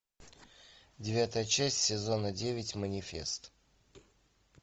девятая часть сезона девять манифест